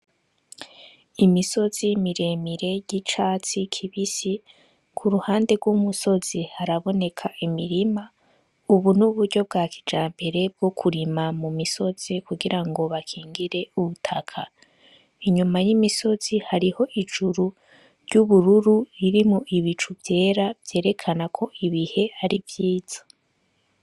Imisozi miremire ry'icatsi kibisi ku ruhande rw'umusozi haraboneka imirima, ubu n'uburyo bwa kijampere bwo kurima mu misozi kugira ngo bakingire ubutaka inyuma y'imisozi hariho ijuru ry'ubururu riri mo ibicurue vyera vyerekana ko ibihe ari vyiza.